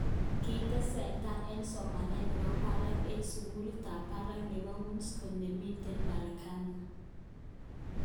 Kitestai eng somanet nebo barak eng sukulit ab barak nebo Wisconsin, nemiten Merwkani.